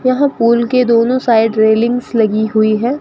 यहां पूल के दोनों साइड रेलिंग्स लगी हुई हैं।